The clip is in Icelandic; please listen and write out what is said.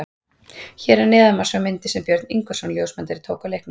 Hér að neðan má sjá myndir sem Björn Ingvarsson ljósmyndari tók á leiknum.